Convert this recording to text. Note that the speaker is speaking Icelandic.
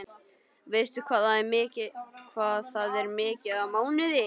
Veistu hvað það er mikið á mánuði?